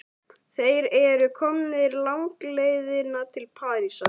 Þeir eru komnir langleiðina til Parísar.